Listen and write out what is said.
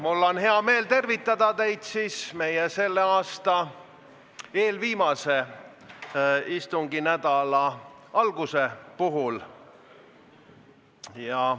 Mul on hea meel tervitada teid meid selle aasta eelviimase istunginädala alguse puhul.